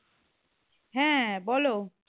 হ্যাঁ বলো